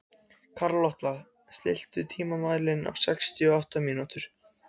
Karlotta, stilltu tímamælinn á sextíu og átta mínútur.